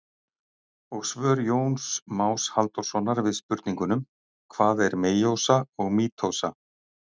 Og svör Jóns Más Halldórssonar við spurningunum: Hvað er meiósa og mítósa?